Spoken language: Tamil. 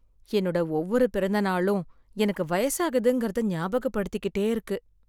என்னோட ஒவ்வொரு பிறந்தநாளும் எனக்கு வயசாகுதுங்கறத ஞாபகப்படுத்திக்கிட்டே இருக்கு.